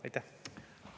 Aitäh!